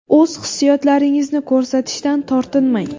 O‘z hissiyotlaringizni ko‘rsatishdan tortinmang.